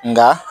Nka